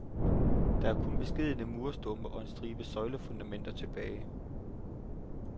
Der er kun beskedne murstumper og en stribe søjlefundamenter tilbage.